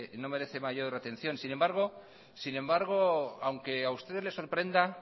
no merece mayor atención sin embargo aunque a ustedes les sorprenda